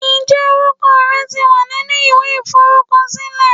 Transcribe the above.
Ǹjẹ́ orúkọ rẹ ti wà nínú ìwé iforukosile?